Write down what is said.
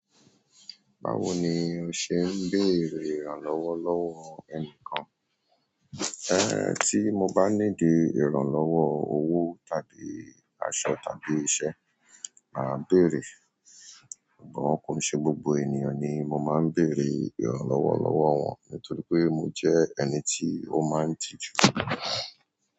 Báwo ni o ṣe ń béèrè ìrànlọ́wọ́ lọ́wọ́ ẹnìkan? Ẹn, tí mo bá need ìrànlọ́wọ́ owó tàbí aṣọ tàbí iṣẹ́, màá béèrè. Ṣùgbọ́n kò ṣe gbogbo ènìyàn ni mo máa ń béèrè ìrànlọ́wọ́ lọ́wọ́ wọn, nítorí pé mo jẹ́ ẹni tí ó máa ń tiju.